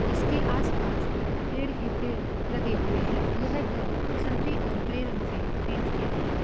इसके आस-पास पेड़ ही पेड़ लगे हुए हैं यह घर संतरी और ग्रे रंग से पेंट किया गया है।